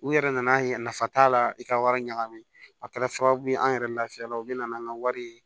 U yɛrɛ nan'a ye nafa t'a la i ka wari ɲagami a kɛra sababu ye an yɛrɛ lafiyala u bɛ na n'an ka wari ye